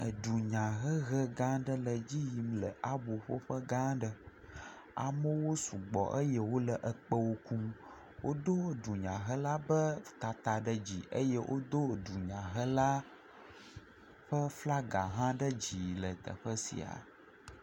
Edunyahehegã aɖe le edzi yim le aboƒoƒegã aɖe. amewo sugbɔ eye wole ekpẽwo kum. Wodo dunyahela be tata ɖe dzi eye wodo dunyahela ƒe flaga hã ɖe dzi le teƒe sia.